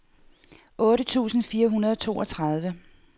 otte tusind fire hundrede og toogtredive